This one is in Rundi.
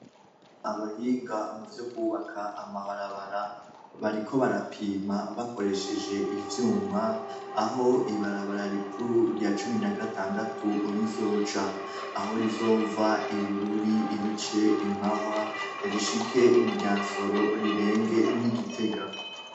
Abahinga muvyo kubaka amabarabara bariko barapima bakoresheje ivyuma aho ibara rikuru cumi na gatandatu rizoca aho rizova ibururi rice imahwa rishike muryansoro rirenge igitega